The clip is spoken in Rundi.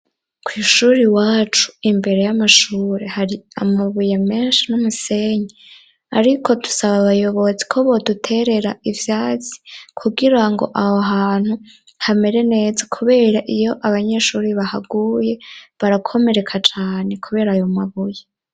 Kw' ishuri iwacu imbere y'amashure hari amabuye menshi n'umusenyi; ariko dusaba abayobozi ko bo duterera ivyasi kugira ngo aho hantu hamere neza kubera iyo abanyeshuri bahaguye, barakomereka cane kubera ayo mabuye.